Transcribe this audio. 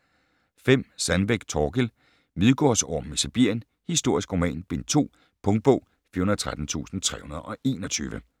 5. Sandbeck, Thorkild: Midgårdsormen i Sibirien: historisk roman: bind 2 Punktbog 413321